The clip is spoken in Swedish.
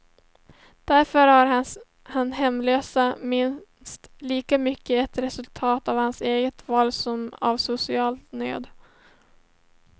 Därför är hans hemlöshet minst lika mycket ett resultat av hans eget val som av social nöd.